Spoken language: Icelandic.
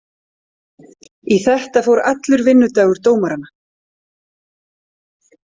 Í þetta fór allur vinnudagur dómaranna.